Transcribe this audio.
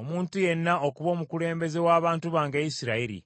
omuntu yenna okuba omukulembeze w’abantu bange Isirayiri.